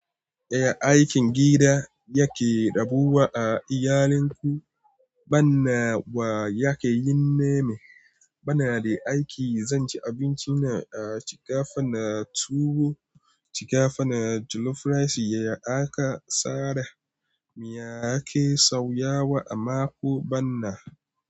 Eh, aikin gida yake rabuwa a iyalin ku, bana wa yake yi nema. Bana da aiki, zan ci abincina a shiga fa na tuwo, shiga fa na jollof rice, ya aka sare, miya ake sauya wa a mako bana.